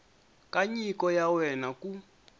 ka nyiko ya wena ku